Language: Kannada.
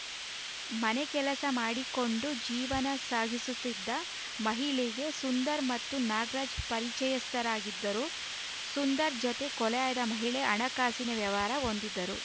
ಮನೆ ಕೆಲಸ ಮಾಡಿಕೊಂಡು ಜೀವನ ಸಾಗಿಸುತ್ತಿದ್ದ ಮಹಿಳೆಗೆ ಸುಂದರ್‌ ಮತ್ತು ನಾಗರಾಜ್‌ ಪರಿಚಯಸ್ಥರಾಗಿದ್ದರು ಸುಂದರ್‌ ಜತೆ ಕೊಲೆಯಾದ ಮಹಿಳೆ ಹಣಕಾಸಿನ ವ್ಯವಹಾರ ಹೊಂದಿದ್ದರು